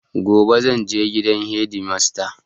Gobe zanje gidan hedimasta